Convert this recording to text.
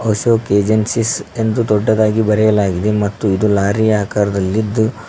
Ashok agencies ಎಂದು ದೊಡ್ಡದಾಗಿ ಬರೆಯಲಾಗಿದೆ ಮತ್ತು ಇದು ಲಾರಿ ಆಕಾರದಲ್ಲಿದ್ದು--